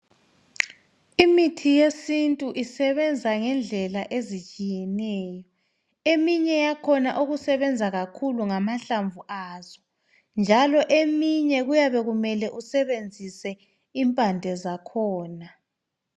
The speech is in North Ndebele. Imithi yesintu isebenza ngendlela ezitshiyeneyo. Eminye yakhona okusebenza kakhulu ngamahlamvu azo njalo eminye kuyabe kumele usebenzise impande zakhona.